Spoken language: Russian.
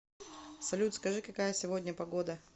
салют скажи какая сегодня погода